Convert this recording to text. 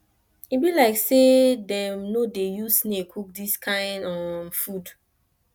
e be like say dem no dey use snail cook dis kin um food